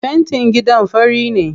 Fentin gidan fari ne.